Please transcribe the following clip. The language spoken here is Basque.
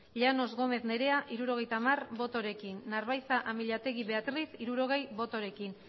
llanos gómez nerea hirurogeita hamar botorekin narbaiza amillategi beatriz hirurogei botorekin